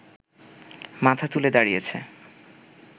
মাথা তুলে দাঁড়িয়েছে